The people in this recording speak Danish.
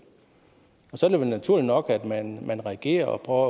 og så er det vel naturligt nok at man man reagerer og prøver